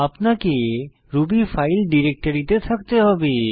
আপনাকে Ruby file ডিরেক্টরিতে থাকতে হবে